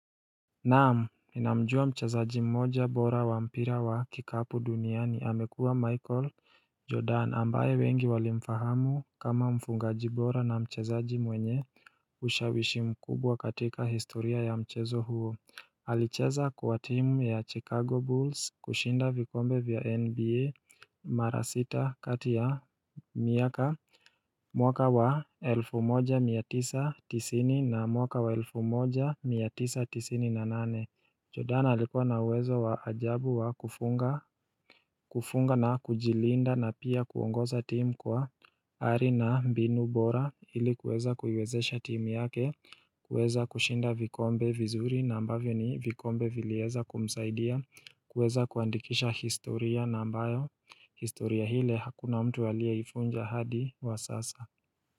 Naam, ninamjua mchezaji mmoja bora wa mpira wa kikapu duniani. Amekuwa Michael Jordan ambaye wengi walimfahamu kama mfungaji bora na mchezaji mwenye ushawishi mkubwa katika historia ya mchezo huo. Alicheza kwa team ya Chicago Bulls kushinda vikombe vya NBA mara sita kati ya miaka mwaka wa elfu moja mia tisa tisini na mwaka wa elfu moja mia tisa tisini na nane. Jordan alikuwa na uwezo wa ajabu wa kufunga na kujilinda na pia kuongoza timu kwa ari na mbinu bora ili kuweza kuiwezesha timu yake, kuweza kushinda vikombe vizuri na ambavyo ni vikombe vilieza kumsaidia, kuweza kuandikisha historia na ambayo, historia ile hakuna mtu aliyeivunja hadi wa sasa.